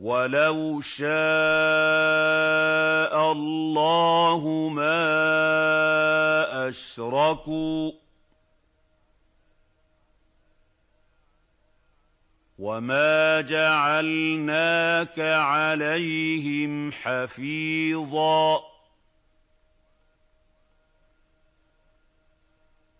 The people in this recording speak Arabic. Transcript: وَلَوْ شَاءَ اللَّهُ مَا أَشْرَكُوا ۗ وَمَا جَعَلْنَاكَ عَلَيْهِمْ حَفِيظًا ۖ